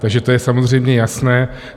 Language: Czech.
Takže to je samozřejmě jasné.